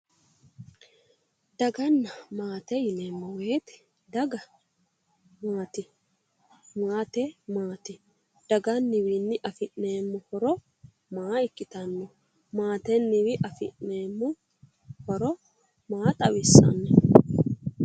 Daganna maate yineemmo woyiite daga maati? maate maati? daganniwiinni afi'neemmo maa ikkitanno, maatenniwiinni afi'neemmo horo maa xawissanno?